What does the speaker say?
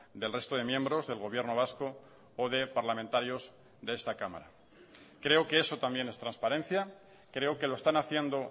del resto de miembros del gobierno vasco o de parlamentarios de esta cámara creo que eso también es transparencia creo que lo están haciendo